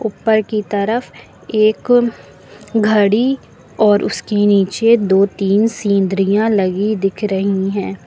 ऊपर की तरफ एक घड़ी और उसके नीचे दो तीन सिंड्रीया सीनरियाँ लगी दिख रही हैं।